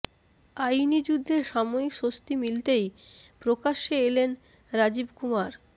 আইনি যুদ্ধে সাময়িক স্বস্তি মিলতেই প্রকাশ্যে এলেন রাজীব কুমার